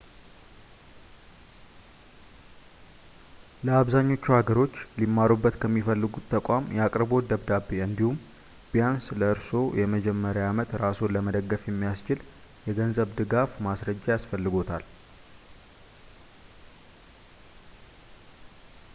ለአብዛኞቹ ሀገሮች ሊማሩበት ከሚፈልጉት ተቋም የአቅርቦት ደብዳቤ እንዲሁም ቢያንስ ለኮርስዎ የመጀመሪያ ዓመት ራስዎን ለመደገፍ የሚያስችል የገንዘብ ድጋፍ ማስረጃ ያስፈልግዎታል